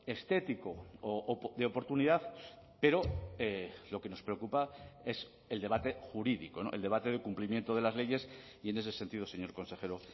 estético o de oportunidad pero lo que nos preocupa es el debate jurídico no el debate de cumplimiento de las leyes y en ese sentido señor consejero